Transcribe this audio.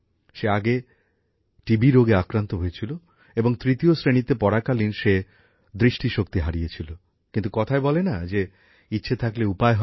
সে আগে যক্ষা রোগে আক্রান্ত হয়েছিল এবং তৃতীয় শ্রেণীতে পড়াকালীন সে দৃষ্টিশক্তি হারিয়েছিল কিন্তু কথায় বলে না যে ইচ্ছে থাকলে উপায় হয়